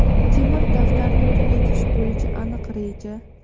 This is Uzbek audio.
temir daftarni tugatish bo‘yicha aniq reja.